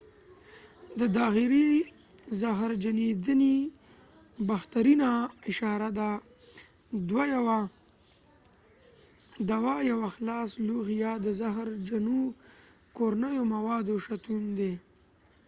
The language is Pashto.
دا داخلي زهرجنېدنې بهترینه اشاره د دوا یوه خلاص لوښی یا د زهرجنو کورنیو موادو شتون دی